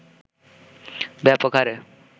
ব্যাপক হারে